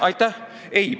Aitäh!